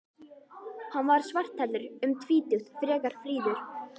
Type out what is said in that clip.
Hann var svarthærður, um tvítugt, frekar fríður.